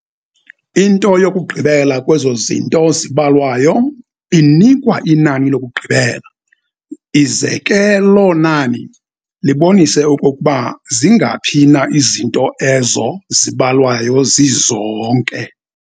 Into yokugqibela kwezozinto zibalwayo inikwa inani lokugqibela, ize ke lo nani libonise okokuba zingaphi na izinto ezo zibalwayo zizonke.